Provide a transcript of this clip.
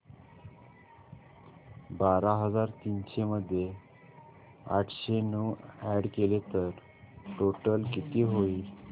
बारा हजार तीनशे मध्ये आठशे नऊ अॅड केले तर टोटल किती होईल